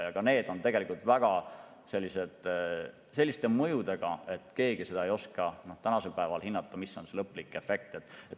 Ka see on tegelikult sellise mõjuga, et keegi ei oska tänasel päeval hinnata, mis on lõplik efekt.